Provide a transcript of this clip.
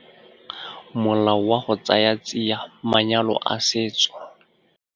Molao wa go Tsaya Tsia Manyalo a Setso.